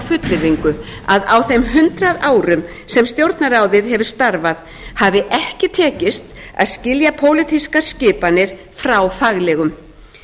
fullyrðingu að á þeim hundrað árum sem stjórnarráðið hefur starfað hafi ekki tekist að skilja pólitískar skipanir frá faglegum